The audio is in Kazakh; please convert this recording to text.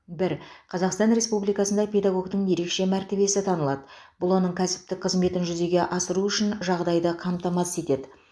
бір қазақстан республикасында педагогтің ерекше мәртебесі танылады бұл оның кәсіптік қызметін жүзеге асыруы үшін жағдайды қамтамасыз етеді